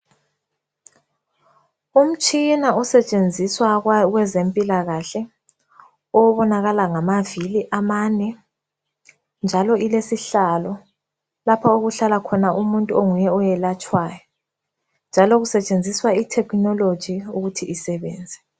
Umtshina osetshenziswa kwabeze mpilakahle obonakala ngavili amane njalo ilesihlalo lapho okuhlala umuntu onguye oyelatshwayo njalo kusetshenziswa i thekhinoloji ukuthi isebenze.